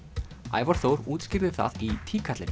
Ævar Þór útskýrði það í